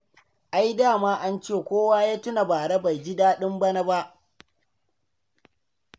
Ai da ma ance kowa ya tuna bara bai ji daɗin bana ba.